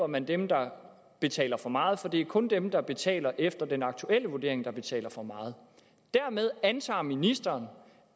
man dem der betaler for meget for det er kun dem der betaler efter den aktuelle vurdering der betaler for meget dermed antager ministeren